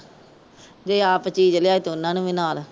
ਜੇ ਆਪ ਚੀਜ ਲਿਆਏ ਤੇ ਉਹਨੂੰ ਵੀ ਨਾਲ।